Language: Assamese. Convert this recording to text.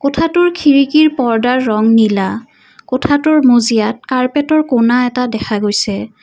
কোঠাটোৰ খিৰিকী পৰ্দ্দাৰ ৰং নীলা কোঠাটোৰ মজিয়াত কাৰ্পেটৰ কুনা এটা দেখা গৈছে।